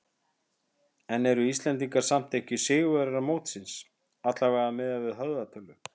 En eru Íslendingar samt ekki sigurvegarar mótsins, allavega miðað við höfðatölu?